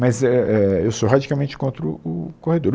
Mas é é eu sou radicalmente contra o o corredor o